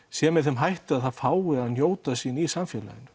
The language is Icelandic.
sé með þeim hætti að það fái að njóta sín í samfélaginu